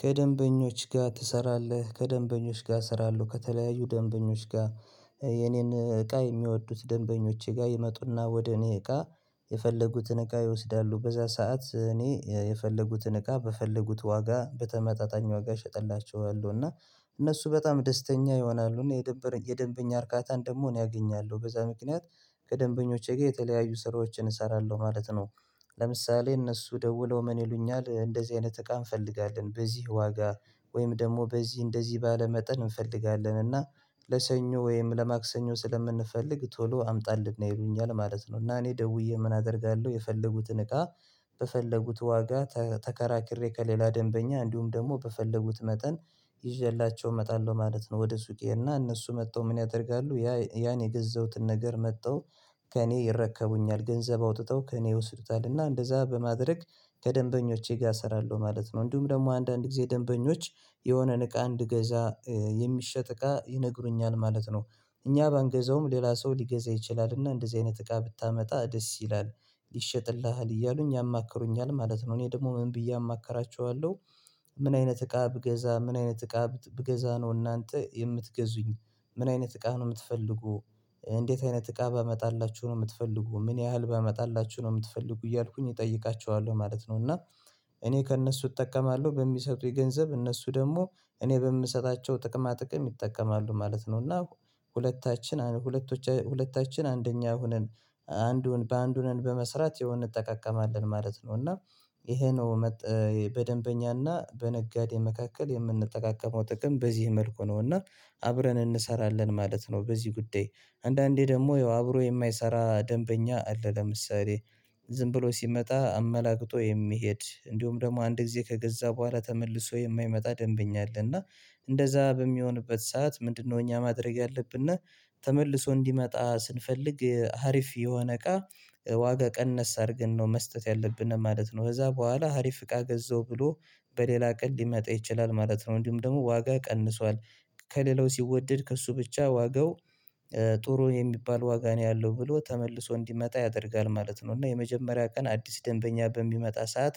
ከደንበኞች ጋር ትሰራለህ ከደንበኞች ጋር እሰራለሁ ከተለያዩ ደንበኞች ጋር የኔን እቃ የሚወዱት ደንበኞቼ ጋር ይመጡና ወደ እኔ እቃ የፈለጉትን እቃ ይወስዳሉ በዛ ሰዓት እኔ የፈለጉትን እቃ በፈለጉት ዋጋ በተመጣጣኝ ዋጋ እሸጥላቸዋለሁ እና እነሱ በጣም ደስተኛ ይሆናሉ እና የደንበኛ እርካታን ደግሞ እኔ አገኛለሁ በዛ ምክንያት ከደንበኞቼ ጋር የተለያዩ ስራዎችን እሰራለሁ ማለት ነው። ለምሳሌ እነሱ ደውለው ምን ይሉኛል እንደዚህ አይነት እቃ እንፈልጋለን በዚህ ዋጋ ወይም ደግሞ በዚህ እንደዚህ ባለ መጠን እንፈልጋለን እና ለሰኞ ወይም ለማክሰኞ ስለምንፈልግ ቶሎ አምጣልን ነው ይሉኛል ማለት ነው። እና እኔ ደውዬ ምን አደርጋለሁ የፈለጉትን እቃ በፈለጉት ዋጋ ተከራክሬ ከሌላ ደንበኛ እንዲሁም ደግሞ በፈለጉት መጠን ይዤላቸው እመጣለሁ ማለት ነው ወደ ሱቄ እና እነሱ መጣሁ ምን ያደርጋሉ ያ ያን የገዛሁትን ነገር መጥተው ከእኔ ይረከቡኛል ገንዘብ አውጥተው ከእኔ ይወስዱታል እና እንደዛ በማድረግ ከደንበኞቼ ጋር እሰራለሁ ማለት ነው። እንዲሁም ደግሞ አንዳንድ ጊዜ ደንበኞች የሆነን እቃ እንድገዛ የሚሸጥ እቃ ይነግሩኛል ማለት ነው። እኛ በአንገዛውም ሌላ ሰው ሊገዛ ይችላል እና እንደዚህ አይነት እቃ ብታመጣ ደስ ይላል ይሸጥልሃል እያሉኝ ያማክሩኛል ማለት ነው እኔ ደግሞ ምን ብዬ አማክራቸዋለሁ ምን አይነት እቃ ብገዛ ምን አይነት እቃ ብገዛ ነው እናንተ የምትገዙኝ ምን አይነት እቃ ነው የምትፈልጉ እንዴት አይነት እቃ ባመጣላችሁ ነው የምትፈልጉ ምን ያህል ባመጣላችሁ ነው የምትፈልጉ እያልኩኝ እጠይቃችኋለሁ ማለት ነው። እና እኔ ከእነሱ እጠቀማለሁ በሚሰጡኝ ገንዘብ እነሱ ደግሞ እኔ በምሰጣቸው ጥቅማ ጥቅም ይጠቀማሉ ማለት ነው እና ሁለታችን ሁለታችን አንደኛ ሆነን አንዱን በአንድ ሁነን በመስራት ይሄው እንጠቀቀማለን ማለት ነው እና ይሄ ነው በደንበኛና በነጋዴ መካከል የምንጠቃቀመው ጥቅም በዚህ መልኩ ነውና አብረን እንሰራለን ማለት ነው በዚህ ጉዳይ አንዳንዴ ደግሞ አብሮ የማይሰራ ደንበኛ አለ ለምሳሌ ዝም ብሎ ሲመጣ አመላግጦ የሚሄድ እንዲሁም ደግሞ አንድ ጊዜ ከገዛ በኋላ ተመልሶ የማይመጣ ደንበኛ አለ እና እንደዛ በሚሆንበት ሰዓት ምንድነው እኛ ማድረግ ያለብን እና ተመልሶ እንዲመጣ ስንፈልግ ሀሪፍ የሆነ እቃ ዋጋ ቀነስ አድርገን ነው መስጠት ያለብን ማለት ነው ከዛ በኋላ ሀሪፍ ፍቃ ገዘው ብሎ በሌላ ቀን ሊመጣ ይችላል ማለት ነው። እንዲሁም ደግሞ ዋጋ ቀንሷል ከሌላው ሲወደድ ከእሱ ብቻ ዋጋው ጥሩ የሚባል ዋጋ ነው ያለው ብሎ ተመልሶ እንዲመጣ ያደርጋል ማለት ነው። እና የመጀመሪያ ቀን አዲስ ደንበኛ በሚመጣ ሰዓት